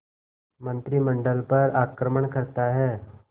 मंत्रिमंडल पर आक्रमण करता है